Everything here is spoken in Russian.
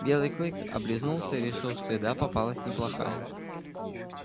белый клык облизнулся и решил что еда попалась неплохая